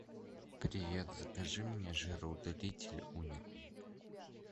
привет закажи мне жироудалитель уникум